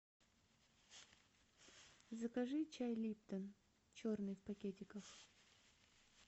закажи чай липтон черный в пакетиках